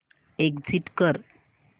exit कर